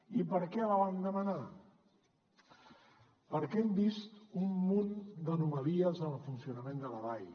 i per què la vam demanar perquè hem vist un munt d’anomalies en el funcionament de la dai